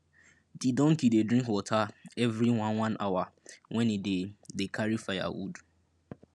di donkey dey drink water evri one one hour wen e dey dey carry firewood